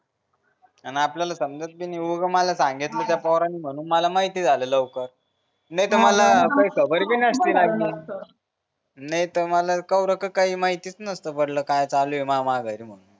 अन आपल्याला समजत पण नि उगा मला सांगितलं त्या पोरानं म्हणून मला माहिती झालं लवकर नाही तर मला काही खबर भी नसती लागली नाही तर मला कव रक काही माहीतच नसत पडलं काय चालूय माह्या माघारी म्हणून